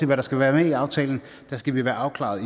hvad der skal være med i aftalen skal vi være afklaret